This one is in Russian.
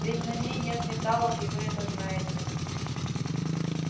ведь на ней нет металлов и вы это знаете